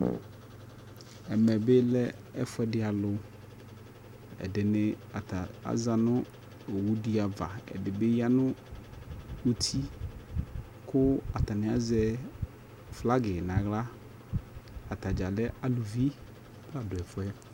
Ɛmɛbɩ lɛ ɛfʊɛdɩ alʊ ɛdɩnɩ azanʊ owʊ diava ɛdɩnɩbɩ yanʊ ʊtɩ kʊ atanɩ azɛ flagi nʊ aɣla atadza kɛ aluvi la nʊ ɛfʊɛ